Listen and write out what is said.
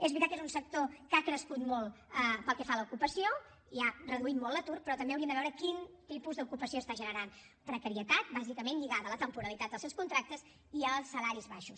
és veritat que és un sector que ha crescut molt pel que fa a l’ocupació i ha reduït molt l’atur però també hauríem de veure quin tipus d’ocupació està generant precarietat bàsicament lligada a la temporalitat dels seus contractes i als salaris baixos